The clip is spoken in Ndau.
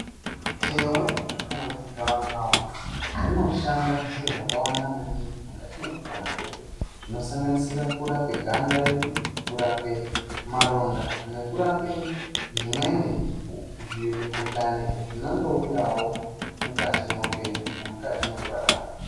Thewe kana kuti gawakawa rinoshanda zviro zvakawanda maningi mukati mwekupona kwedu zvinosanganisira kurape ganda redu, kurape maronda nekurape zvimweni zvimukhuhlane zvinondouyawo mukati mweupenyu nemukati mwekurarama.